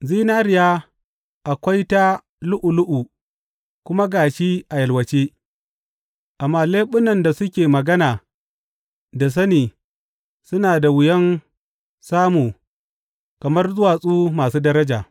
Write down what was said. Zinariya akwai ta, lu’ulu’u kuma ga shi a yalwace, amma leɓunan da suke magana da sani suna da wuyan samu kamar duwatsu masu daraja.